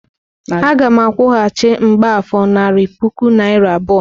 Aga m akwụghachi mgbafor narị puku naịra abụọ.